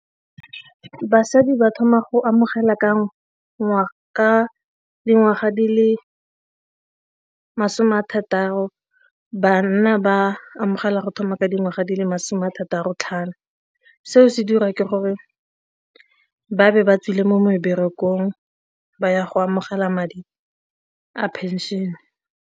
Basadi ba thoma go amogela ka dingwaga di le masome a thataro, banna ba amogela go thoma ka dingwaga di le masome a thataro-tlhano. Seo se dira ke gore ba be ba tswile mo meberekong ba ya go amogela madi a pension.